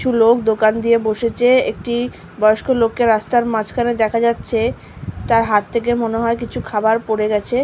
কিছু লোক দোকান দিয়ে বসেছে-এ একটি বয়স্ক লোককে রাস্তার মাঝখানে দেখা যাচ্ছে তার হাত থেকে মনে হয় কিছু খাবার পড়ে গেছে।